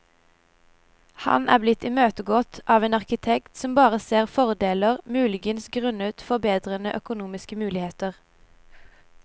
Han er blitt imøtegått av en arkitekt som bare ser fordeler, muligens grunnet forbedrede økonomiske muligheter.